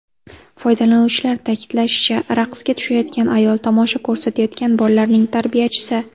Foydalanuvchilar ta’kidlashicha, raqsga tushayotgan ayol tomosha ko‘rsatayotgan bolalarning tarbiyachisi.